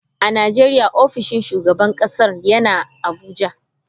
A Najeriya ofishin shugaban kasar yana Abuja.